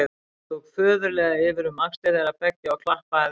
Hann tók föðurlega yfir um axlir þeirra beggja og klappaði þeim vinalega.